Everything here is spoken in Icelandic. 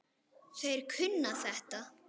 Þeir kunna þetta.